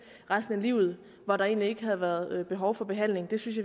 resten af livet hvor der egentlig ikke havde været behov for behandling det synes